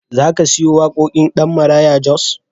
Za ka siyo waƙoƙin ɗan Maraya Jos?